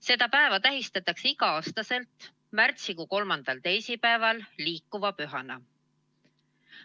Seda päeva tähistatakse igal aastal märtsikuu kolmandal teisipäeval liikuva pühana.